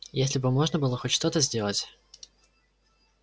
если бы можно было хоть что-то сделать